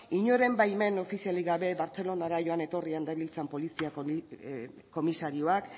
inoren baimen eduki gabe bartzelonara joan etorri genbiltzan polizia komisarioak